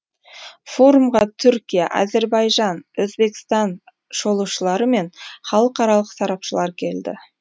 форумға түркия әзербайжан өзбекстан шолушылары мен халықаралық сарапшылар келді